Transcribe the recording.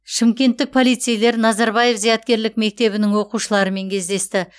шымкенттік полицейлер назарбаев зияткерлік мектебінің оқушыларымен кездесті